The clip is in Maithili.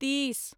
तीस